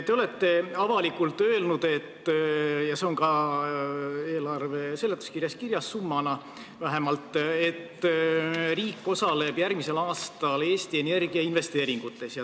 Te olete avalikult öelnud ja see on ka eelarve seletuskirjas vähemalt summana kirjas, et riik osaleb järgmisel aastal Eesti Energia investeeringutes.